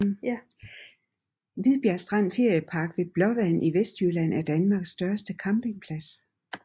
Hvidbjerg Strand Feriepark ved Blåvand i Vestjylland er Danmarks største campingplads